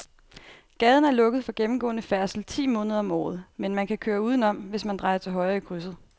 Gaden er lukket for gennemgående færdsel ti måneder om året, men man kan køre udenom, hvis man drejer til højre i krydset.